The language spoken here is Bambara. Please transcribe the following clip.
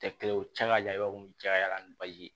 Tɛ kelen ye u cɛ ka jan i b'a fɔ cayara ni baji ye